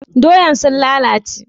Doyan sun lalace?